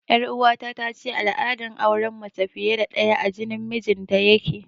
Ƴar uwata tace al'adar auren mace fiye da ɗaya a jinin mijinta yake